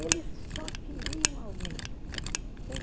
Eles só queriam aumento.